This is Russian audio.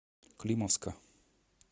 климовска